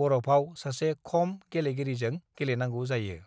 बरफाव सासे खम गेलेगिरिजों गेलेनांगौ जायो।"